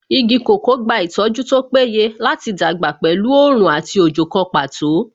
Igi kòkó gba ìtọ́jú tó péye láti dàgbà pẹ̀lú oòrùn àti òjò kan pàtó